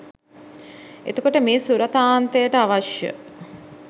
එතකොට මේ සුරතාන්තයට අවශ්‍ය